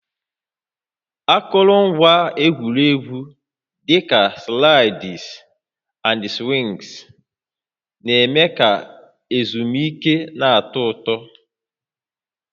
Akụrụngwa egwuregwu dị ka slides na swings na-eme ka ezumike na-atọ ụtọ